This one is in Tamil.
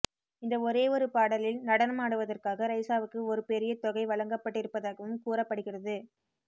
இந்த ஒரே ஒரு பாடலில் நடனம் ஆடுவதற்காக ரைசாவுக்கு ஒரு பெரிய தொகை வழங்கப்பட்டிருப்பதாகவும் கூறப்படுகிறது